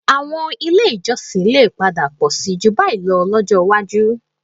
Àwọn ilé ìjọsìn lè padà pọ̀ síi jù báyìí lọ lọ́jọ́ iwájú